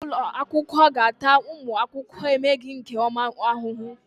Onye isi ụlọ akwụkwọ ga-ata ụmụ akwụkwọ emeghị nke ọma ahụhụ.